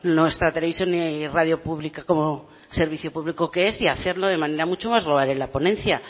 nuestra televisión y radio pública como servicio público que es y hacerlo de manera mucho más global en la ponencia